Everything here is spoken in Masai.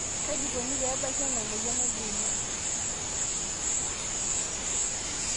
kaji ikoni pee ebaki ena moyian oldeima